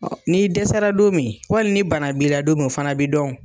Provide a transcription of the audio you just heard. N'i dɛsɛra don min wali ni bana b'i la don min o fana b'i dɔn o.